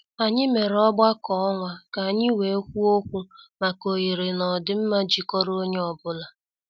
Anyị mere ọgbakọ ọnwa ka anyị wee kwuo okwu maka oghere na ọdịmma jikọrọ onye ọ bụla.